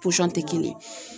tɛ kelen ye.